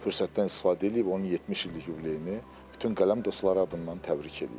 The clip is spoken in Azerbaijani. Fürsətdən istifadə eləyib, onun 70 illik yubileyini bütün qələm dostları adından təbrik eləyirəm.